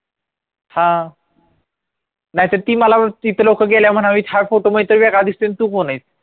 हा नाहीतर ती मला तिथं लोकं गेल्याव हा फोटो इथं वेगळा दिसतोय